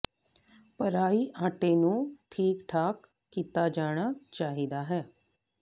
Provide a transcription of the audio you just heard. ਭਰਾਈ ਆਟੇ ਨੂੰ ਠੀਕ ਠਾਕ ਕੀਤਾ ਜਾਣਾ ਚਾਹੀਦਾ ਹੈ